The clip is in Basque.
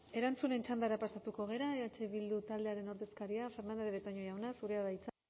erantzunen txandara pasatuko gara eh bildu taldearen ordezkaria fernandez de betoño jauna zurea da hitza